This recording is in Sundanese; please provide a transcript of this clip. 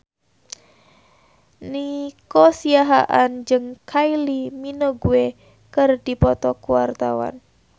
Nico Siahaan jeung Kylie Minogue keur dipoto ku wartawan